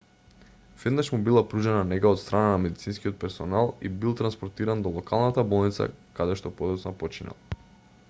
веднаш му била пружена нега од страна на медицинскиот персонал и бил транспортиран до локалната болница каде што подоцна починал